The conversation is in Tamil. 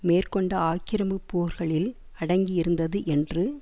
மேற்கொண்ட ஆக்கிரமி போர்களில் அடங்கியிருந்தது என்று